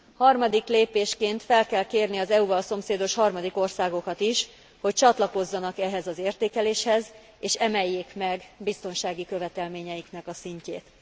Harmadik lépésként fel kell kérni az EU val szomszédos harmadik országokat is, hogy csatlakozzanak ehhez az értékeléshez, és emeljék meg biztonsági követelményeiknek a szintjét.